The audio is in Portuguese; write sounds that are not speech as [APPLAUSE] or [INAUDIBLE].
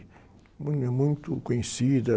[UNINTELLIGIBLE] muito conhecida.